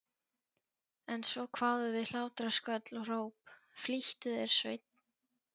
En svo kváðu við hlátrasköll og hróp: Flýttu þér Sveinn.